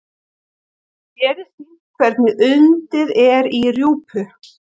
Hér er sýnt hvernig undið er í rjúpu.